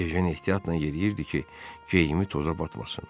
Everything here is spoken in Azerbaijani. Ejen ehtiyatla yeriyirdi ki, geyimi toza batmasın.